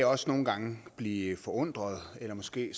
også nogle gange blive forundret eller måske